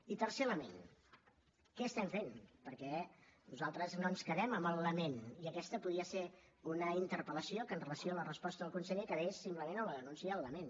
i tercer element què estem fent perquè nosaltres no ens quedem en el lament i aquesta podria ser una interpel·lació que amb relació a la resposta del conseller quedés simplement en la denúncia i el lament